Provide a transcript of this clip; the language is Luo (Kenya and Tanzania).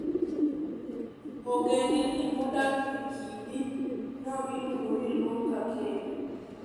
Ogendni modak e kidi no iluongo ni Luo-Kakello.